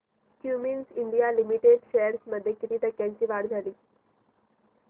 Cummins India limited shares मध्ये किती टक्क्यांची वाढ झाली